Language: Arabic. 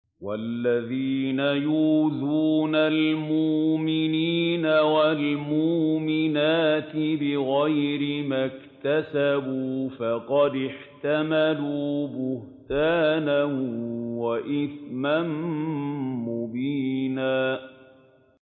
وَالَّذِينَ يُؤْذُونَ الْمُؤْمِنِينَ وَالْمُؤْمِنَاتِ بِغَيْرِ مَا اكْتَسَبُوا فَقَدِ احْتَمَلُوا بُهْتَانًا وَإِثْمًا مُّبِينًا